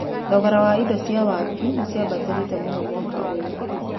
Thogora wa indo cia waki nĩciambatĩrĩte mũno mwaka ũyũ.